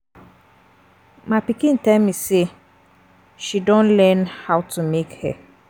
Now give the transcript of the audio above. My pikin tell me say she don learn how how to make hair